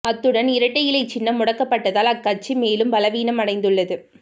அத்துடன் இரட்டை இலை சின்னம் முடக்கப்பட்டதால் அக்கட்சி மேலும் பலவீனம் அடைந்துள்ளது